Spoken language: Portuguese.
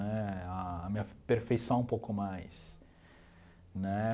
Né a me aperfeiçoar um pouco mais né.